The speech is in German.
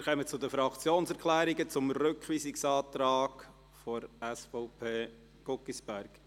Wir kommen zu den Fraktionserklärungen zum Rückweisungsantrag SVP/Guggisberg.